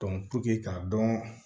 k'a dɔn